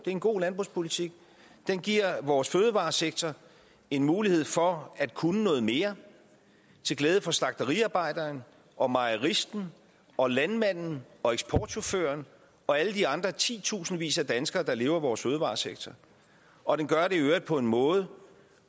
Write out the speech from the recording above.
en god landbrugspolitik den giver vores fødevaresektor en mulighed for at kunne noget mere til glæde for slagteriarbejderen og mejeristen og landmanden og eksportchaufføren og alle de andre titusindvis af danskere der lever af vores fødevaresektor og den gør det i øvrigt på en måde